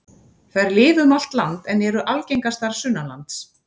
Þær lifa um allt land en eru algengastar sunnanlands.